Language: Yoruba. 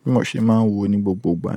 bí mo ṣe máa ń wò ó ní gbogbo ìgbà náà.